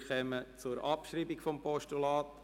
Wir kommen zur Abschreibung des Postulats.